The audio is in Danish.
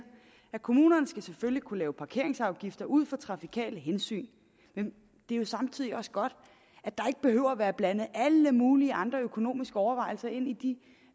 at kommunerne selvfølgelig skal kunne lave parkeringsafgifter ud fra trafikale hensyn men det er jo samtidig også godt at der ikke behøver at være blandet alle mulige andre økonomiske overvejelser ind i de